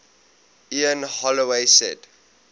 ian holloway said